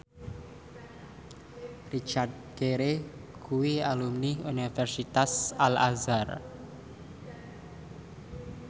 Richard Gere kuwi alumni Universitas Al Azhar